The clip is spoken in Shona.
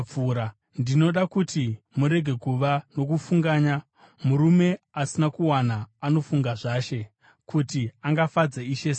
Ndinoda kuti murege kuva nokufunganya. Murume asina kuwana anofunga zvaShe, kuti angafadza Ishe sei.